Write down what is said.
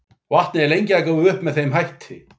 Vatnið er lengi að gufa upp með þeim hætti.